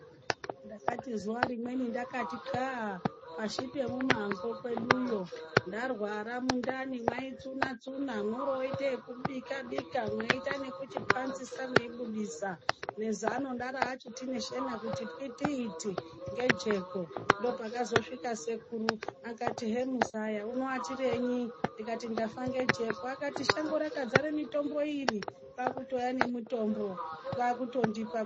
Ndakati zuva rimweni ngakati txaa pashi pemumango kweduyo. Ndarwara mundani maitsuna-tsuna moro voite yekubika-bika mweite nekuchipanzisa mweibudisa nezano ndera kuti neshena kuti pwititi ngejeko. Ndopakazosvika sekuru akati hemuzaya unoatireyi ndikati ndafa nejeko akati shango rakadzara mitombo iri kwakutouya nemutombo kwakutondipa.